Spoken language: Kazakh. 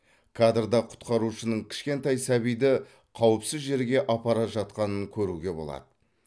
кадрда құтқарушының кішкентай сәбиді қауіпсіз жерге апара жатқанын көруге болады